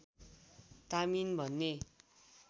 तामिन भन्ने